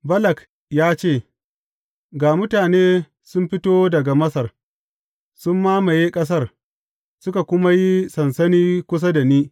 Balak ya ce, Ga mutane sun fito daga Masar; sun mamaye ƙasar, suka kuma yi sansani kusa da ni.